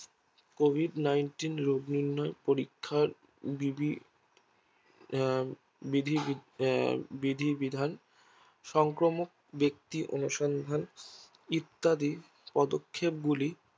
Covid nineteen রোগ নির্ণয় পরীক্ষায় বিধি বিধি আহ বিধিবিধান সংক্রমক ব্যাক্তি অনুসরণ হয় ইত্যাদি পদক্ষেপ গুলো গ্রহণ করেছে